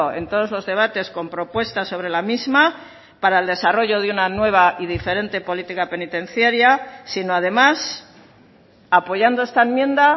en todos los debates con propuestas sobre la misma para el desarrollo de una nueva y diferente política penitenciaria sino además apoyando esta enmienda